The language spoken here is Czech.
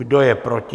Kdo je proti?